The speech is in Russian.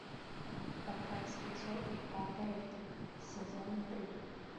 пока цветет папоротник сезон три